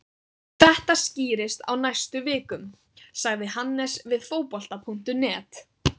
Þetta skýrist á næstu vikum, sagði Hannes við Fótbolta.net.